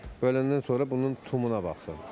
Böləndən sonra bunun tumuna baxsın.